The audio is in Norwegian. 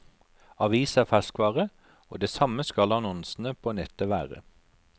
Avis er ferskvare, og det samme skal annonsene på nettet være.